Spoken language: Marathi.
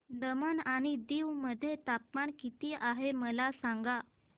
दमण आणि दीव मध्ये तापमान किती आहे मला सांगा